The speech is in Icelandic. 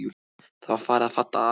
Það var farið að falla að.